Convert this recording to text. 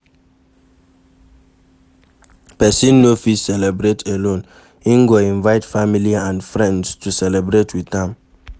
Persin no fit celebrate alone in go invite family and friends to celebrate with am